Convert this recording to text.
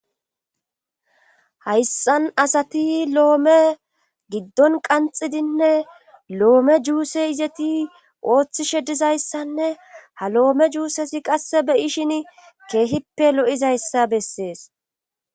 Hayssan asati loome giddon qanxidinne loome juuse izeti ooththishe dizayssanne ha loome juusesi qasse be ishin keehippe lo7izayssa bessees.